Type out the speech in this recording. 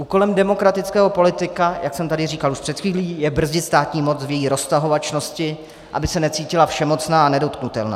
Úkolem demokratického politika, jak jsem tady říkal už před chvílí, je brzdit státní moc v její roztahovačnosti, aby se necítila všemocná a nedotknutelná.